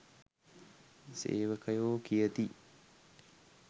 සේවකයෝ කියති